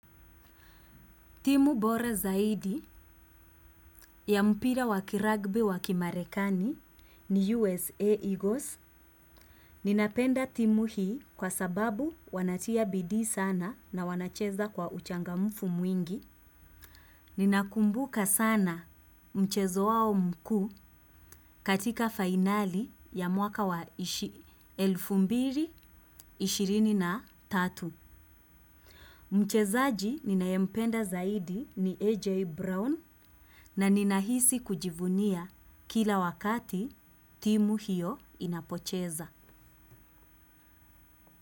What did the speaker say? Timu bora zaidi ya mpira wakiragbe wakimarekani ni USA Eagles. Ninapenda timu hii kwa sababu wanatia bidii sana na wanacheza kwa uchangamufu mwingi. Ninakumbuka sana mchezo wao mkuu katika finali ya mwaka wa elfu mbili ishirini na na tatu, mchezaji ninayempenda zaidi ni AJ Brown na ninahisi kujivunia kila wakati timu hiyo inapocheza.